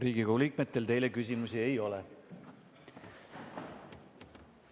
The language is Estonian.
Riigikogu liikmetel teile küsimusi ei ole.